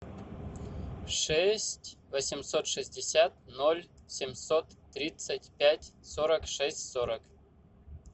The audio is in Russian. шесть восемьсот шестьдесят ноль семьсот тридцать пять сорок шесть сорок